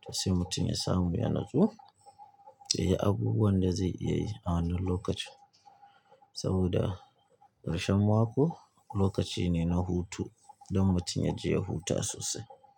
to sai mutum ya samu ya natsu, ya yi abubuwan da zai iya yi a wannan lokacin. Saboda ƙarshen mako lokaci ne na hutu don mutum ya je ya huta sosai.